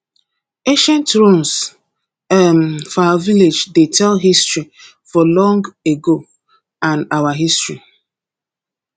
ancient ruins um for our village dey tell story of long ago and our history